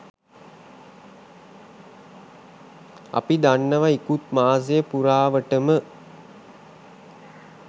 අපි දන්නවා ඉකුත් මාසය පුරාවටම